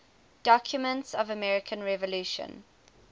documents of the american revolution